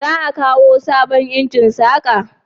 za a kawo sabon injin saka?